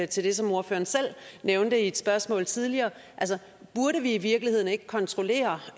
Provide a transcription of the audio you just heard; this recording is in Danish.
til det som ordføreren selv nævnte i et spørgsmål tidligere burde vi i virkeligheden ikke kontrollere